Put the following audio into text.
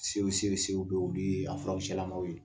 olu ye a furakisɛlamaw ye